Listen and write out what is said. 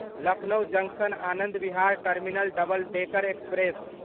Lucknow junction Anand Vihar terminal double decker express